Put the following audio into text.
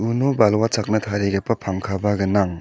uno balwa chakna tarigipa pangkaba gnang.